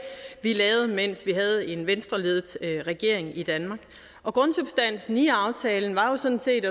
vi lavede mens vi havde en venstreledet regering i danmark og grundsubstansen i aftalen var jo sådan set